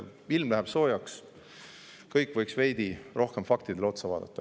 Ilm läheb soojaks, kõik võiks veidi rohkem faktidele otsa vaadata.